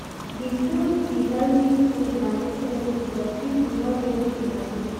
Di truth be healthy food na necessity but pipo no get di moni.